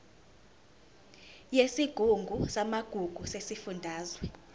yesigungu samagugu sesifundazwe